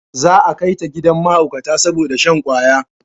Za a kai ta gidan mahaukata saboda shan kwaya